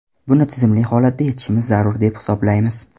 Buni tizimli holatda yechishimiz zarur, deb hisoblaymiz.